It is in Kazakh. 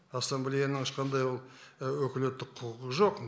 ассамблеяның ешқандай ол өкілеттік құқығы жоқ